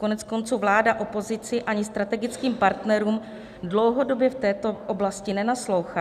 Koneckonců vláda opozici ani strategickým partnerům dlouhodobě v této oblasti nenaslouchá.